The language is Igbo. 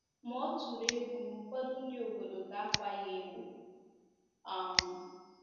Ma ọ tụrụ egwu na ụfọdụ ndị obodo ga-akwa ya emo. um